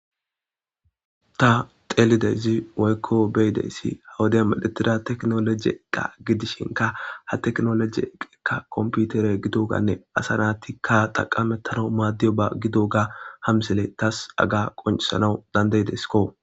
Ta teelideyzi woykko beyideyssi ha wude midhetida teknoloji eqqa gidishinka ha teknoloji eqeka komputere gidoganne asa naatikka xaqamettano maaddiyo ba gidoga hamsele taas aga qoncisanau dandaydesko.